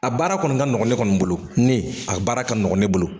A baara kɔni ka nɔgɔn ne kɔni bolo ne a baara ka nɔgɔ ne bolo